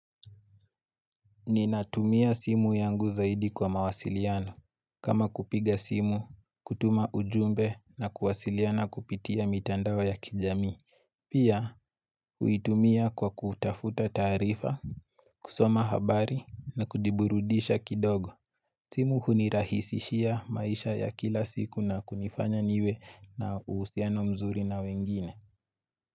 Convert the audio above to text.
Ninatumia simu yangu zaidi kwa mawasiliano. Kama kupiga simu, kutuma ujumbe na kuwasiliana kupitia mitandao ya kijami. Pia, uitumia kwa kutafuta tarifa, kusoma habari na kudiburudisha kidogo. Simu hunirahisishia maisha ya kila siku na kunifanya niwe na usiano mzuri na wengine.